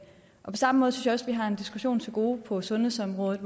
på samme måde synes vi har en diskussion til gode på sundhedsområdet